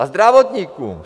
A zdravotníkům.